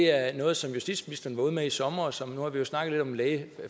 er noget som justitsministeren var ude med i sommer sommer nu har vi snakket lidt